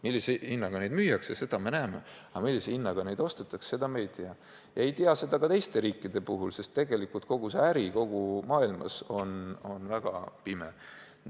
Millise hinnaga neid müüakse, seda me näeme, aga millise hinnaga neid ostetakse, seda me ei tea, ja ei teata seda ka teistes riikides, sest tegelikult kogu see äri kogu maailmas käib väga pimedas.